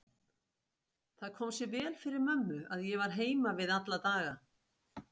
Það kom sér vel fyrir mömmu að ég var heima við alla daga.